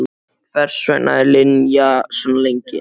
Hvers vegna var Linja svona lengi?